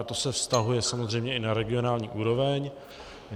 A to se vztahuje samozřejmě i na regionální úroveň.